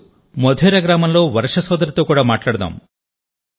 ఇప్పుడు మోధేరా గ్రామంలో వర్ష సోదరితో కూడా మాట్లాడదాం